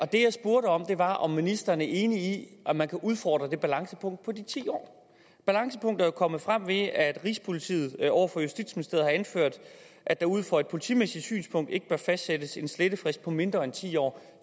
det jeg spurgte om var om ministeren er enig i at man kan udfordre det balancepunkt på de ti år balancepunktet er jo kommet frem ved at rigspolitiet over for justitsministeriet har anført at der ud fra et politimæssigt synspunkt ikke bør fastsættes en slettefrist på mindre end ti år